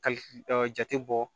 Kali jate bɔ